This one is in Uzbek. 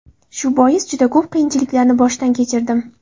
Shu bois, juda ko‘p qiyinchiliklarni boshdan kechirdim.